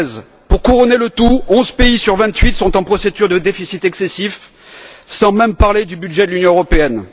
2016. Pour couronner le tout, onze pays sur vingt huit sont en procédure de déficit excessif, sans même parler du budget de l'Union européenne.